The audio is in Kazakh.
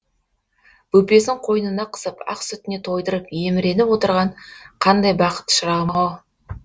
бөпесін қойнына қысып ақ сүтіне тойдырып еміреніп отырған қандай бақыт шырағым ау